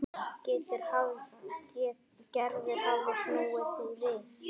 Gerður hafði snúið því við.